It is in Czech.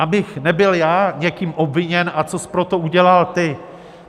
Abych nebyl já někým obviněn: a cos pro to udělal ty?